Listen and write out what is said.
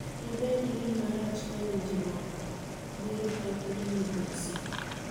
Dibedi gima rach ka winjruokno biro kethgi gi mogosi.